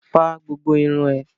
Fá gbogbo irun ẹ!